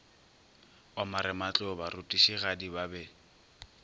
wa marematlou barutišigadi ba be